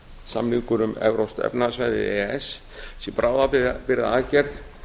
samningur um evrópskt efnahagssvæði e e s sé bráðabirgðaaðgerð